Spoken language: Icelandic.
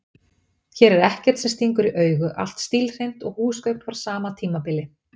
Hér er ekkert sem stingur í augu, allt stílhreint og húsgögn frá sama tímabili.